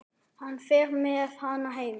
Hann fer með hana heim.